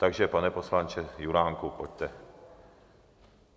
Takže, pane poslanče Juránku, pojďte.